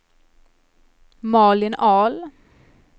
Malin Ahl